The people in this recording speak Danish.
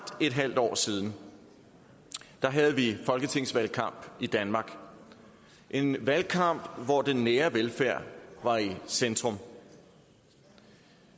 et halvt år siden havde vi folketingsvalgkamp i danmark en valgkamp hvor den nære velfærd var i centrum